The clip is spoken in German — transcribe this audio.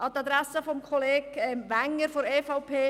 An die Adresse von Kollege Wenger von der EVP-Fraktion: